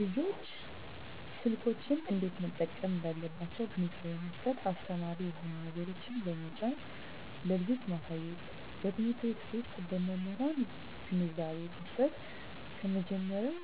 ልጆች ስልኮችን እንዴት መጠቀም እንዳለባቸዉ ግንዛቤ መስጠት አስተማሪ የሆኑ ነገሮችን በመጫን ለልጆች ማሳየትበትምህርት ቤት ዉስጥ በመምህራን ግንዛቤ መስጠት ከመጀመሪያዉ